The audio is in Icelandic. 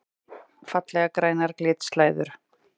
Fallegar grænar glitslæður!